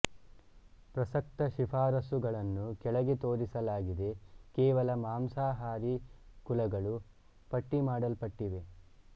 ಪ್ರಸಕ್ತ ಶಿಫಾರಸುಗಳನ್ನು ಕೆಳಗೆ ತೋರಿಸಲಾಗಿದೆ ಕೇವಲ ಮಾಂಸಾಹಾರಿ ಕುಲಗಳು ಪಟ್ಟಿಮಾಡಲ್ಪಟ್ಟಿವೆ